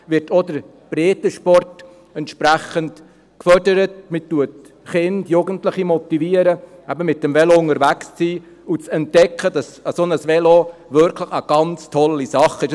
Man motiviert Kinder und Jugendliche, eben mit dem Velo unterwegs zu sein und zu entdecken, dass ein solches Velo wirklich eine ganz tolle Sache ist.